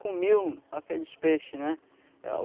comiam aqueles peixe, né?